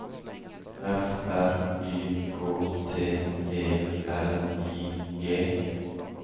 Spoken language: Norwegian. F R Y K T E L I G